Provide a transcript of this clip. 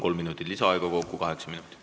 Kolm minutit lisaaega, kokku kaheksa minutit.